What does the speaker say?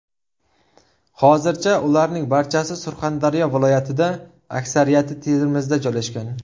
Hozircha ularning barchasi Surxondaryo viloyatida, aksariyati Termizda joylashgan.